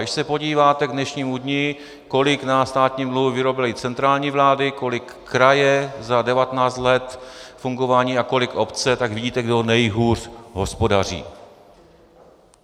Když se podíváte k dnešnímu dni, kolik na státním dluhu vyrobily centrální vlády, kolik kraje za 19 let fungování a kolik obce, tak vidíte, kdo nejhůř hospodaří.